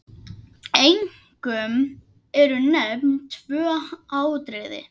Einkum eru nefnd tvö atriði.